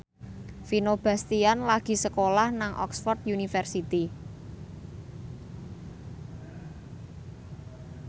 Vino Bastian lagi sekolah nang Oxford university